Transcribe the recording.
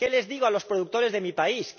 ¿Qué les digo a los productores de mi país?